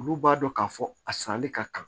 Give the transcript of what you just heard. Olu b'a dɔn k'a fɔ a sanni ka kan